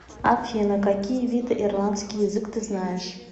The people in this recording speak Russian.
афина какие виды ирландский язык ты знаешь